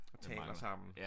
Og taler sammen